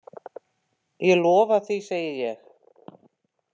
Ég lofa því, segi ég.